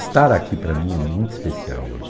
Estar aqui para mim é muito especial hoje.